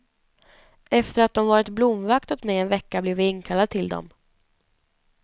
Efter att de varit blomvakt åt mig en vecka blev jag inkallad till dem.